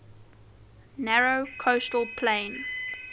narrow coastal plain